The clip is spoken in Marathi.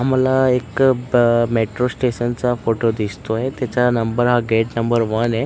मला एक मेट्रो स्टेशन चा फोटो दिसतोयं. त्याच्या नंबर हा गेट नंबर वन आहे.